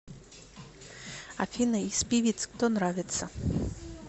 афина из певиц кто нравится